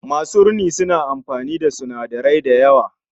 Masu rini suna amfani da sinadarai da yawa